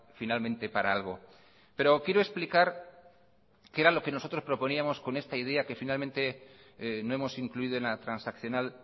finalmente para algo pero quiero explicar qué era lo que nosotros proponíamos con esta idea que finalmente no hemos incluido en la transaccional